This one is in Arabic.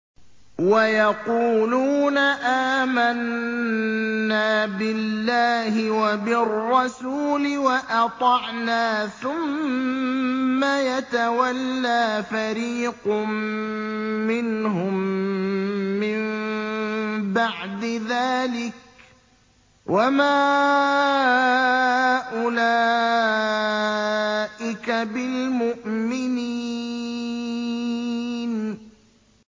وَيَقُولُونَ آمَنَّا بِاللَّهِ وَبِالرَّسُولِ وَأَطَعْنَا ثُمَّ يَتَوَلَّىٰ فَرِيقٌ مِّنْهُم مِّن بَعْدِ ذَٰلِكَ ۚ وَمَا أُولَٰئِكَ بِالْمُؤْمِنِينَ